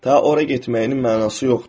Ta ora getməyinin mənası yoxdur.